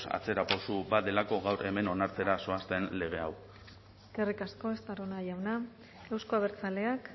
atzerapauso bat delako gaur hemen onartzera zoazten lege hau eskerrik asko estarrona jauna euzko abertzaleak